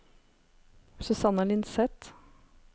Susanne Lindseth